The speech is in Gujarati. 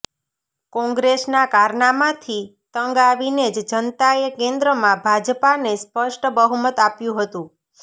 કોંગ્રેસના કારનામાથી તંગ આવીને જ જનતાએ કેન્દ્રમાં ભાજપાને સ્પષ્ટ બહુમત આપ્યુ હતુ